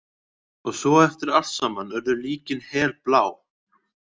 Og svo eftir allt saman urðu líkin helblá.